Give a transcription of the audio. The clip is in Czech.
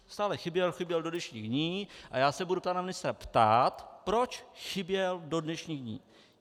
Stále chyběl, chyběl do dnešních dní, a já se budu pana ministra ptát, proč chyběl do dnešních dní.